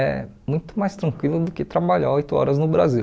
é muito mais tranquilo do que trabalhar oito horas no Brasil.